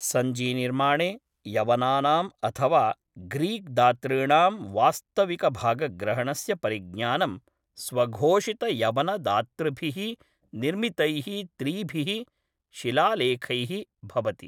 सञ्चीनिर्माणे यवनानाम् अथवा ग्रीक् दातॄणां वास्तविकभागग्रहणस्य परिज्ञानं स्वघोषितयवनदातृभिः निर्मितैः त्रिभिः शिलालेखैः भवति।